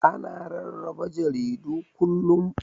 Ana rarraba jaridu kullum.